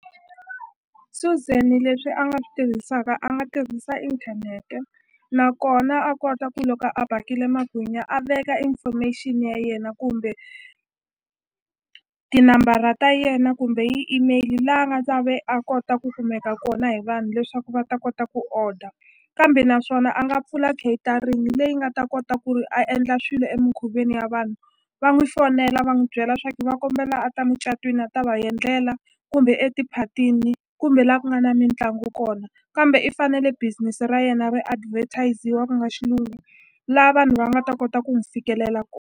Suzan leswi a nga swi tirhisaka a nga tirhisa inthanete nakona a kota ku loko a bakile magwinya a veka information ya yena kumbe tinambara ta yena kumbe hi email la a nga ta ve a kota ku kumeka kona hi vanhu leswaku va ta kota ku order kambe naswona a nga pfula catering leyi nga ta kota ku ri a endla swilo emukhuveni ya vanhu va n'wi fonela va n'wi byela swa ku va kombela a ta mucatwini a ta va endlela kumbe eti phatini kumbe la ku nga na mitlangu kona kambe i fanele business ra yena ri advertise-wa ku nga xilungu la vanhu va nga ta kota ku n'wi fikelela .